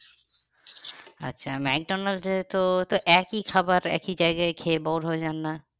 আচ্ছা মেকডনাল্ড্স এ তো তো একই খাবার একই জায়গায় খেয়ে bor হয়ে যান না?